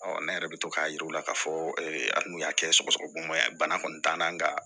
ne yɛrɛ bɛ to k'a yira u la k'a fɔ ali n'u y'a kɛ sɔgɔsɔgɔbana ye bana kɔni t'an na nga